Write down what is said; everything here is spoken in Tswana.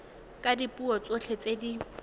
ka dipuo tsotlhe tse di